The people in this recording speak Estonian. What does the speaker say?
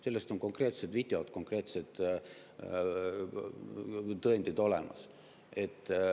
" Sellest on konkreetsed videod, tõendid olemas.